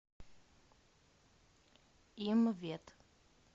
имвет